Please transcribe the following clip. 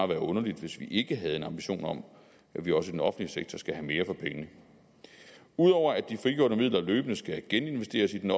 være underligt hvis vi ikke havde en ambition om at vi også i den offentlige sektor skal have mere for pengene ud over at de frigjorte midler løbende skal geninvesteres i den